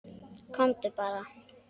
Komdu bara.